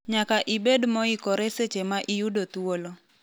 Nyaka ibed moikore seche ma iyudo thuolo."